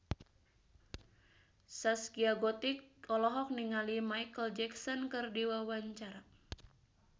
Zaskia Gotik olohok ningali Micheal Jackson keur diwawancara